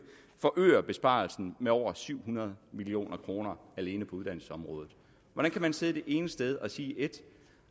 forøge besparelsen med over syv hundrede million kroner alene på uddannelsesområdet hvordan kan man sidde det ene sted og sige et